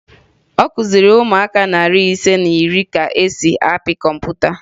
Ọ kụziri ụmụaka narị ise na iri ka e si apị kọmputa